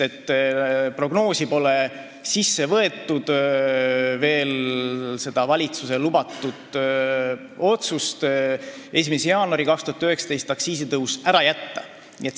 Prognoosi pole veel sisse võetud valitsuse otsust 1. jaanuari 2019 aktsiisitõus ära jätta.